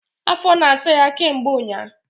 Afo na asa ya ke mgbe unya